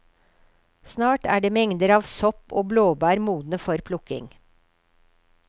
Snart er mengder av sopp og blåbær modne for plukking.